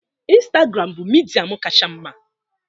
Instagram bụ midia m kacha mma